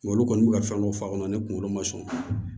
Nka olu kɔni bɛ ka fɛn dɔ fɔ a kɔnɔ ne kunkolo ma sɔn